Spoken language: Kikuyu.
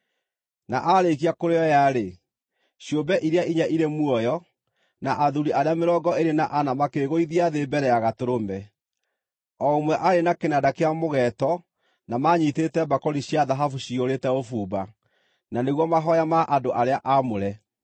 Na aarĩkia kũrĩoya-rĩ, ciũmbe iria inya irĩ muoyo, na athuuri arĩa mĩrongo ĩĩrĩ na ana makĩĩgũithia thĩ mbere ya Gatũrũme. O ũmwe aarĩ na kĩnanda kĩa mũgeeto na maanyiitĩte mbakũri cia thahabu ciyũrĩte ũbumba, na nĩguo mahooya ma andũ arĩa aamũre.